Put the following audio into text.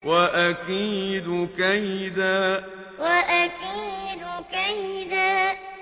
وَأَكِيدُ كَيْدًا وَأَكِيدُ كَيْدًا